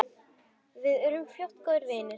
Við urðum fljótt góðir vinir.